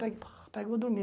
Pe pega e vou dormir.